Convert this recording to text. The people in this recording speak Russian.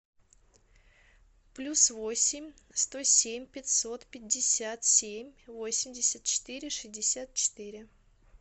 плюс восемь сто семь пятьсот пятьдесят семь восемьдесят четыре шестьдесят четыре